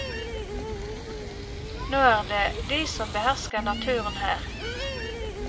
Nå er det de som behersker naturen her.